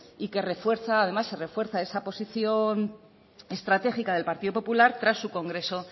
y que además refuerza esa posición estratégica del partido popular tras su congreso